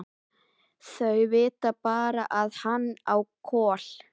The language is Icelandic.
Þau vita bara að hann á Kol.